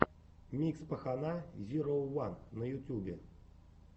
микс пахана зироу ван на ютьюбе